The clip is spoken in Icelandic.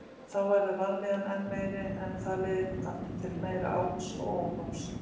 Þá verður vanlíðanin enn meiri en það leiðir aftur til meira áts og óhófs.